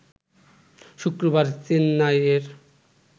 শুক্রবার চেন্নাইয়ের